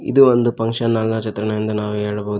ಇದು ಒಂದು function hall ನ ಚಿತ್ರಣವೆಂದು ನಾವು ಹೇಳಬಹುದು.